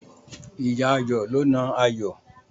Ìyá Ayọ̀ ló na Ayọ̀.